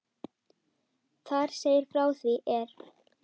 Þar segir frá því er